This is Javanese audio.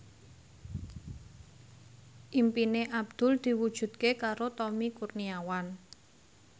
impine Abdul diwujudke karo Tommy Kurniawan